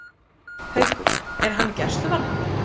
Haukur: Er hann í gæsluvarðhaldi?